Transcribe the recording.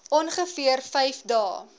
ongeveer vyf dae